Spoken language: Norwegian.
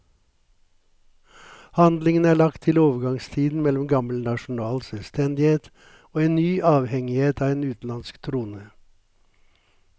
Handlingen er lagt til overgangstiden mellom gammel nasjonal selvstendighet og en ny avhengighet av en utenlandsk trone.